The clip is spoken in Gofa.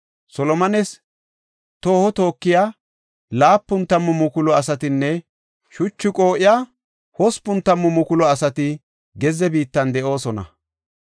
Solomones tooho tookiya 70,000 asatinne shuchu qoo7iya 80,000 asati gezze biittan de7oosona.